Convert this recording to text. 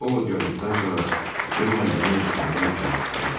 Ovod gəldikdən sonra Cemma yeməyi bişirmək üçün mətbəxə getdi.